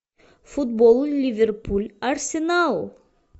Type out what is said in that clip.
футбол ливерпуль арсенал